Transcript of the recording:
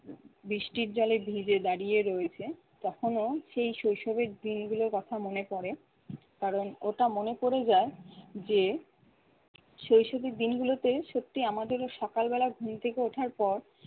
বৃষ্টির জলে ভিজে দাঁড়িয়ে রয়েছে তখনও সেই শৈশবের দিনগুলোর কথা মনে পড়ে, কারণ ওটা মনে পড়ে যায় যে শৈশবের দিনগুলোতে সত্যিই আমাদেরও সকালে ঘুম থেকে ওঠার পর-